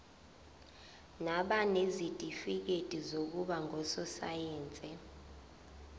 nabanezitifikedi zokuba ngososayense